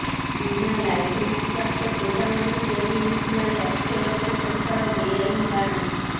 ବିନା ଲାଇସେନ୍ସ ପ୍ରାପ୍ତ ଗୋଦାମରେ ତିଆରି ହେଉଥିଲା ଲକ୍ଷ ଳକ୍ଷ ଟଙ୍କାର ବେଆଇନ୍ ବାଣ